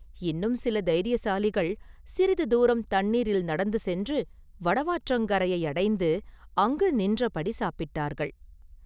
இன்னும் சில தைரியசாலிகள் சிறிது தூரம் தண்ணீரில் நடந்து சென்று வடவாற்றங்கரையை அடைந்து அங்கு நின்றபடி சாப்பிட்டார்கள்.